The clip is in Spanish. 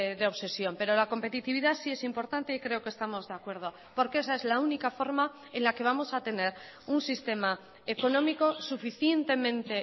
de obsesión pero la competitividad sí es importante y creo que estamos de acuerdo porque esa es la única forma en la que vamos a tener un sistema económico suficientemente